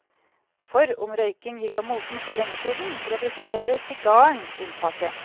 For om røyking gikk av moten for lenge siden, representerer sigaren unntaket.